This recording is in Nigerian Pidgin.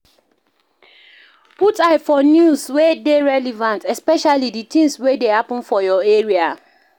Put eye for news wey dey relevant, especially di things wey dey happen for your area